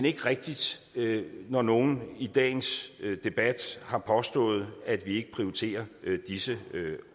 ikke rigtigt når nogen i dagens debat har påstået at vi ikke prioriterer disse